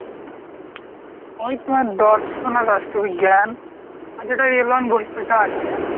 ওই তোর দর্শন আর রাষ্ট্রবিজ্ঞান, আর যেটা টা আছে।